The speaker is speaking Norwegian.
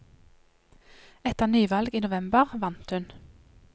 Etter nyvalg i november vant hun.